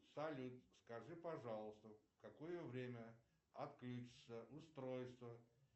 салют скажи пожалуйста в какое время отключится устройство